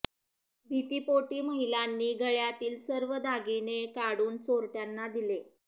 भीतीपोटी महिलांनी गळ्यातील सर्व दागिणे काडून चोरट्यांना दिले